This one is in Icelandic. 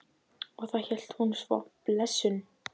Og hvað heitir hún svo, blessunin?